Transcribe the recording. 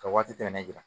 Ka waati tɛmɛnen jira